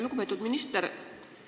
Lugupeetud minister!